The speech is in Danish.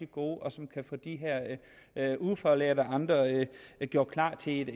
gode og som kan få de her ufaglærte og andre gjort klar til et